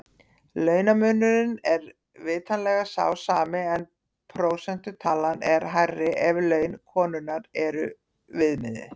Launamunurinn er vitanlega sá sami en prósentutalan er hærri ef laun konunnar er viðmiðið.